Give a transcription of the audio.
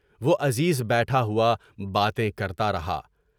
وہ عزیز بیٹھا ہوا باتیں کرتار تھا۔